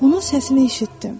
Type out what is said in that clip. Onun səsini eşitdim.